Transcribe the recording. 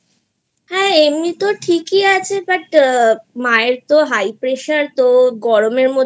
এমনি তো ঠিকই আছে But মায়ের তো High pressure তো গরমের মধ্যে